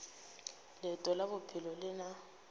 leeto la bophelo le na